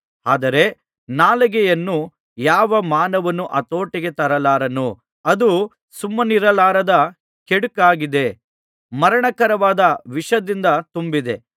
ಆದರೆ ನಾಲಿಗೆಯನ್ನು ಯಾವ ಮಾನವನೂ ಹತೋಟಿಗೆ ತರಲಾರನು ಅದು ಸುಮ್ಮನಿರಲಾರದ ಕೆಡುಕಾಗಿದೆ ಮರಣಕರವಾದ ವಿಷದಿಂದ ತುಂಬಿದೆ